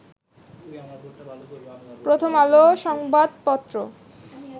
প্রথম আলো সংবাদ পত্র